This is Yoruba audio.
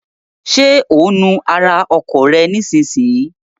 Ṣé ò ń nu ara ọkọ̀ rẹ nísinsìnyí?